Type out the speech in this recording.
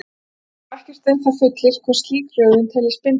Hér skal þó ekkert um það fullyrt hvort slík röðun teljist bindandi.